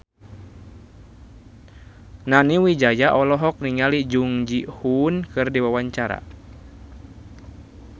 Nani Wijaya olohok ningali Jung Ji Hoon keur diwawancara